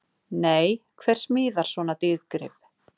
Nei, hver smíðar svona dýrgrip?!